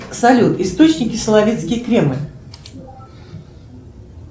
салют источники соловецкий кремль